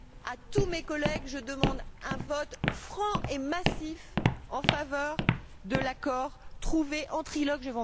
À tous mes collègues, je demande un vote franc et massif en faveur de l'accord trouvé en trilogue.